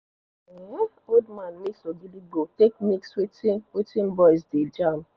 um old man mix ogidigbo take mix wetin wetin boys dey jam